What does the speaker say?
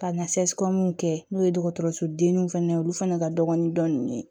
Ka na kɛ n'o ye dɔgɔtɔrɔsodenniw fana ye olu fana ka dɔgɔn ni dɔn ninnu ye